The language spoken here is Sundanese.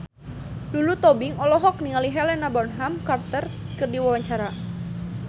Lulu Tobing olohok ningali Helena Bonham Carter keur diwawancara